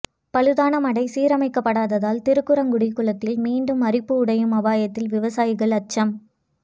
பழுதான மடை சீரமைக்கப்படாததால் திருக்குறுங்குடி குளத்தில் மீண்டும் அரிப்பு உடையும் அபாயத்தால் விவசாயிகள் அச்சம்